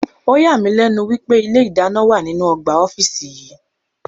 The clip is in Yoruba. Ọ̀yà mí lẹ́nu wípé ilé ìdáná wà nínú ọgbà ọ́fíìsì yí.